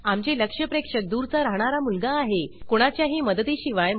आमचे लक्ष्य प्रेक्षक दूरचा राहणारा मुलगा आहे कोणाच्याही मदती शिवाय